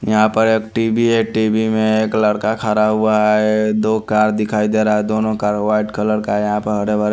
यहां पर एक टीबी है टीबी में एक लड़का खड़ा हुआ है दो कार दिखाई दे रहा है दोनों कार व्हाइट कलर का है यहां पर हरे भरे--